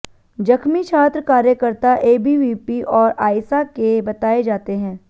जख्मी छात्र कार्यकर्ता एबीवीपी और आइसा के बताए जाते हैं